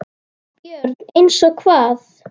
BJÖRN: Eins og hvað?